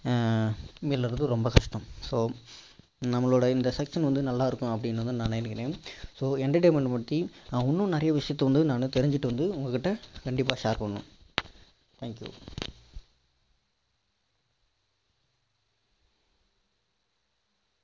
ஆஹ் மீளுறது ரொம்ப கஷ்டம் so நம்மளோட இந்த session வந்து நல்லா இருக்குன்னு நான் நினைக்கிறேன் so entertainment ட பற்றி நான் இன்னும் நிறைய விஷயத்த வந்து நானு தெரிஞ்சிட்டு வந்து உங்ககிட்ட கண்டிப்பா share பண்ணுவேன் thank you